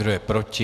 Kdo je proti?